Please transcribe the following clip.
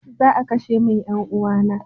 Za a kashe min 'yan uwana na.